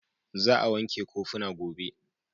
Za a wanke kofuna gobe.